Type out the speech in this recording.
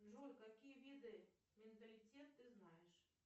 джой какие виды менталитет ты знаешь